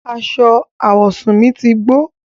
Àṣọ awọsún mi ti gbọ̀.